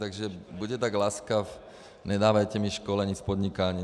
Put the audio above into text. Takže buďte tak laskav, nedávejte mi školení z podnikání.